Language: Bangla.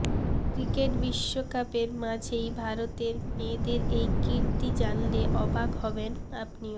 ক্রিকেট বিশ্বকাপের মাঝেই ভারতের মেয়েদের এই কীর্তি জানলে অবাক হবেন আপনিও